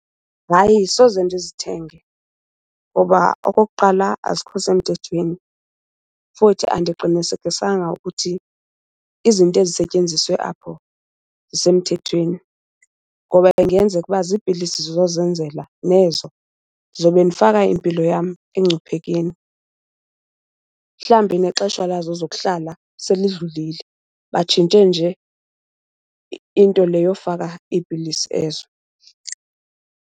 Hayi, soze ndizithenge ngoba okokuqala azikho semthethweni. Futhi andiqinisekisanga ukuthi izinto ezisetyenziswe apho zisemthethweni ngoba ingenzeka uba ziipilisi zozenzela nezo, ndizobe ndifaka impilo yam engcuphekeni. Mhlawumbi nexesha lazo zokuhlala selidlulile, batshintshe nje into le yofaka iipilisi ezo.